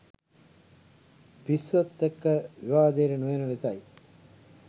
පිස්සොත් එක්ක විවාදයට නොයන ලෙසයි.